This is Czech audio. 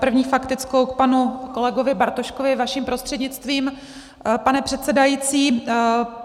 První faktickou k panu kolegovi Bartoškovi vaším prostřednictvím, pane předsedající.